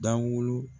Dawulo